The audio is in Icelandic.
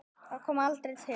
Það kom aldrei til.